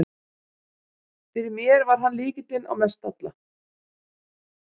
Fyrir mér var hann lykilinn á Mestalla.